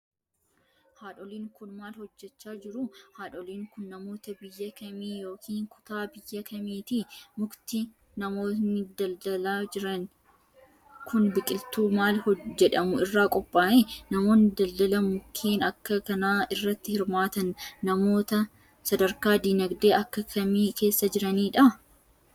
Haadholiin kun, maal hojjachaa jiru? Haadholiin kun, namoota biyya kamii yokin kutaa biyya kamiiti? Mukti namoonni daldalaa jiran kun, biqiltuu maal jedhamu irraa qophaa'e? Namoonni daldala mukkeen akka kanaa irratti hirmaatan ,namoota sadarkaa diinagdee akka kamii keessa jiraataniidha?